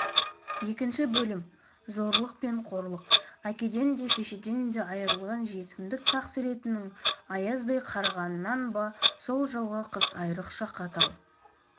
екінші бөлім зорлық пен қорлық әкеден де шешеден де айырылған жетімдік тақсіретінің аяздай қарығанынан ба сол жылғы қыс айрықша қатал